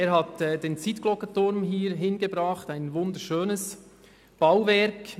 Dieser hat den Zytgloggeturm hierhin gebracht, ein wunderschönes Bauwerk.